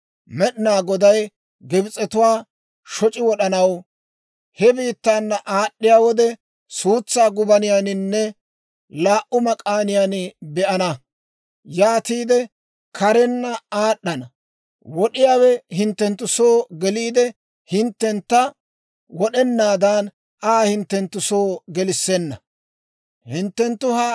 Med'inaa Goday Gibs'etuwaa shoc'i wod'anaw he biittaana aad'd'iyaa wode, suutsaa gubaniyaaninne laa"u mak'aaniyaan be'ana; yaatiide karenna aad'd'ana; wod'iyaawe hinttenttu soo geliide, hinttentta wod'enaadan Aa hinttenttu soo gelissenna. Hisoop'p'iyaa